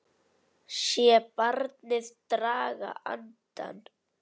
Sé barnið draga andann.